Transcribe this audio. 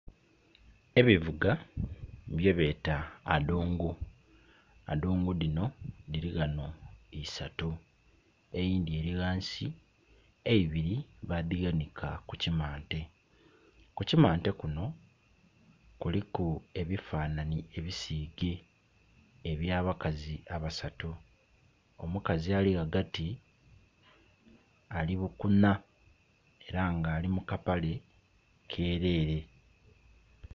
Ebivuga bye beta adungu, adungu dhino dhiri ghano isatu, eyindhi eri ghansi eibiri badhighanika ku kimante. Ku kimante kuno kuliku ebifananye ebisige ebya bakazi abasatu. Omukazi ali ghagati ali bukunha era nga ali mu kapale kerere.